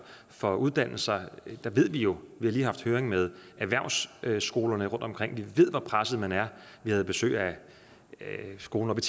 for uddannelser der ved vi jo vi har lige haft høring med erhvervsskolerne rundtomkring hvor presset man er vi havde besøg af skolen oppe